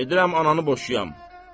Gedirəm ananı boşuyam.